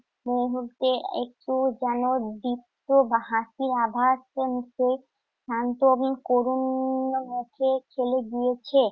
মনে হচ্ছে একটু যেন দীপ্ত হাসির আভাস শান্ত এবং করুণ চলে গিয়েছে।